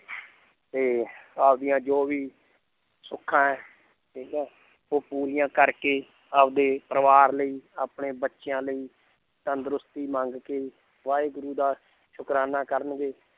ਤੇ ਆਪਦੀਆਂ ਜੋ ਵੀ ਸੁੱਖਾਂ ਹੈ ਠੀਕ ਹੈ ਉਹ ਪੂਰੀਆਂ ਕਰਕੇ ਆਪਦੇ ਪਰਿਵਾਰ ਲਈ ਆਪਣੇ ਬੱਚਿਆਂ ਲਈ ਤੰਦਰੁਸਤੀ ਮੰਗ ਕੇ ਵਾਹਿਗੁਰੂ ਦਾ ਸੁਕਰਾਨਾ ਕਰਨਗੇ